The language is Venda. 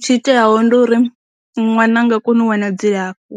Tshi iteaho ndi uri, ṅwana a nga koni u wana dzilafho,